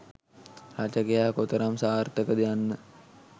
රචකයා කොතරම් සාර්ථක ද යන්න